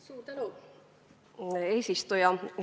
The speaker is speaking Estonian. Suur tänu, eesistuja!